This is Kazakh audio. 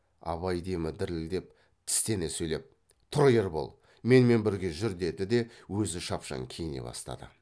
абай демі дірілдеп тістене сөйлеп тұр ербол менімен бірге жүр деді де өзі шапшаң киіне бастады